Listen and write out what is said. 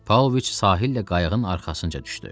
Pavloviç sahillə qayığın arxasınca düşdü.